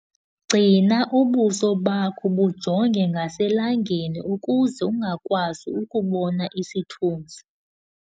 Gcina ubuso bakho bujonge ngaselangeni ukuze ungakwazi ukubona isithunzi.